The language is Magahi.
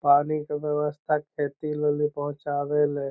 पानी के व्यवस्था खेती मे भी पहुँचावे ले --